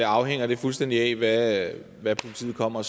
afhænger det fuldstændig af hvad politiet kommer